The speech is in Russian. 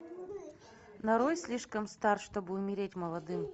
нарой слишком стар чтобы умереть молодым